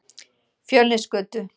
Fjölnisgötu